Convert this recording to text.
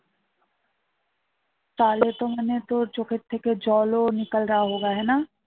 তাহলে তো মানে তোর চোখের থেকে জল ও